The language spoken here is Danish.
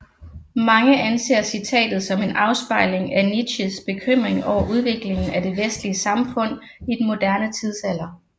Mange anser citatet som en afspejling af Nietzsches bekymring over udviklingen af det vestlige samfund i den moderne tidsalder